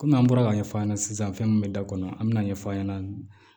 Kɔmi an bɔra ka ɲɛ f'a ɲɛna sisan fɛn min bɛ da kɔnɔ an bɛ na ɲɛfɔ a ɲɛna